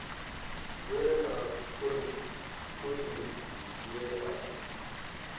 lwe na khoḽidzhi ye a